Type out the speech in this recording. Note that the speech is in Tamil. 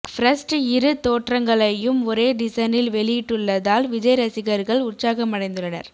ஃபர்ஸ்ட் இரு தோற்றங்களையும் ஒரே டிசனில் வெளியிட்டுள்ளதால் விஜய் ரசிகர்கள் உற்சாகமடைந்துள்ளனர்